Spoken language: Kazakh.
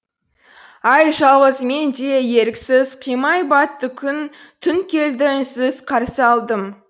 ай жалғыз мен де еріксіз қимай батты күн түн келді үнсіз қарсы алдым